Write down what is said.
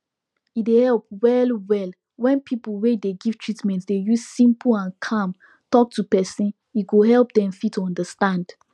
e dey help well well when pipu wey dey give treatment dey use simple and calm talk to person e go help dem fit understand